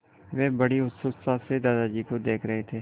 वे बड़ी उत्सुकता से दादाजी को देख रहे थे